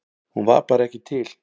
Hún var bara ekki til.